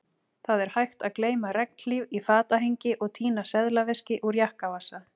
Það er hægt að gleyma regnhlíf í fatahengi og týna seðlaveski úr jakkavasa